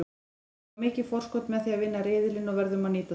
Við fáum mikið forskot með því að vinna riðilinn og verðum að nýta það.